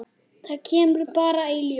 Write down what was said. Þetta kemur bara í ljós.